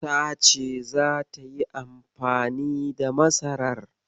Tace zata yi amfani da masarar.